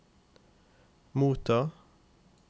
motta